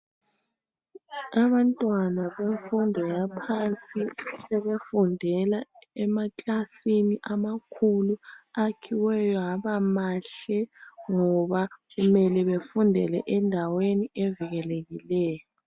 Abantwana bemfundo yaphansi sebefundela emaklasini amakhulu akhiweyo haba mahle ngoba okumele befundele endaweni evikelekileyo.